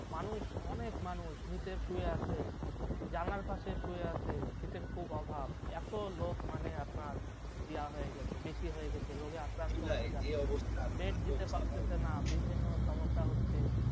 মানুষ অনেক মানুষ নিচে শুয়ে আছে, জানালার পাশে শুয়ে আছে, শীতের খুব অভাব এত লোক মানে আপনার ইয়া হয়ে গেছে বেশি হয়ে গেছে রোগে আক্রান্ত হয়ে গেছে bed দিতে পারছে না বিভিন্ন সমস্যা হচ্ছে